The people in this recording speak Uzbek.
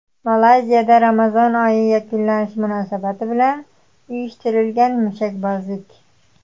Malayziyada Ramazon oyi yakunlanishi munosabati bilan uyushtirilgan mushakbozlik.